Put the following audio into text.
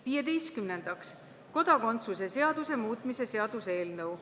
Viieteistkümnendaks, kodakondsuse seaduse muutmise seaduse eelnõu.